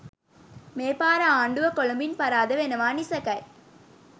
මේ පාර ආණ්ඩුව කොළඹින් පරාද වෙනවා නිසැකයි